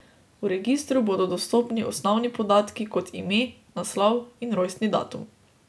V registru bodo dostopni osnovni podatki kot ime, naslov in rojstni datum.